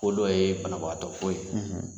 Ko dɔ ye banabagatɔ ko ye, .